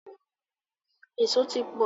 Eso máa ti pọ̀ lọ́jà Òyìngbò.